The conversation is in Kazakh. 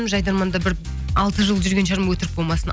жайдарманда бір алты жыл жүрген шығармын өтрік болмасын